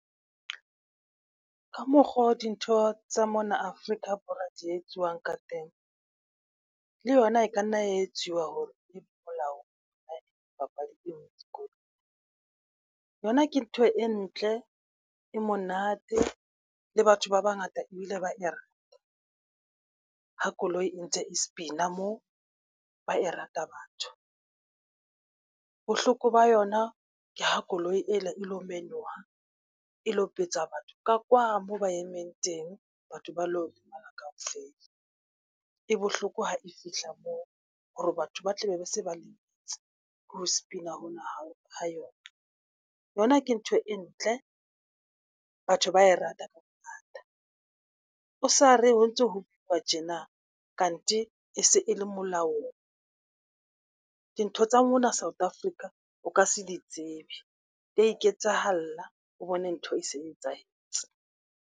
Ka mokgo dintho tsa mona Afrika Borwa di etswang ka teng, le yona e ka nna etsiwa hore e molaong papadi eno dikolong. Yona ke ntho e ntle, e monate le batho ba bangata ebile ba e rata ha koloi e ntse e spin-a moo ba e rata batho. Bohloko ba yona ke ho koloi ena e lo menoha, e betsa batho ka kwa moo ba emeng teng batho ba lo lemala kaofela. E bohloko ha e fihla moo hore batho ba tlabe ba se ba lemetse ke ho spin-a hona ha yona. Yona ke ntho e ntle, batho ba e rata ka bongata. O sa re ho ntso ho uwa tjena kante e se e le molaong dintho tsa mona South Africa o ka se di tsebe. Di ya iketsahala, o bone ntho e se e etsahetse.